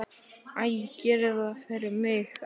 Æ, gerið það fyrir mig að fara.